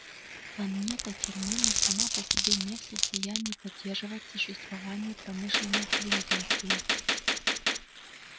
планета терминус сама по себе не в состоянии поддерживать существование промышленной цивилизации